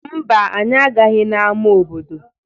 Mba, anyị agaghị n'ama obodo.